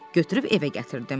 Götürüb evə gətirdim.